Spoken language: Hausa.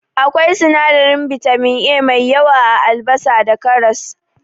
Akwai sinadarin bitamin A mai yawa a Albasa da karas.